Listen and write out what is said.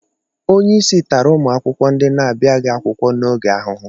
Onye isi tara ụmụakwụkwọ ndị na-abịaghị akwụkwọ n'oge ahụhụ